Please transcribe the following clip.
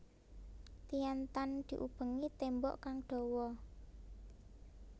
Tian Tan diubengi tembok kang dhawa